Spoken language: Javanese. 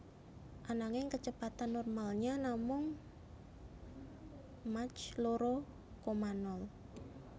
Ananging kecepatan normalnya namung mach loro koma nol